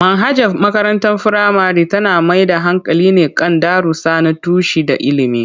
Manhajar makarantar firamare tana mai da hankali ne kan darussa na tushe da ilimi.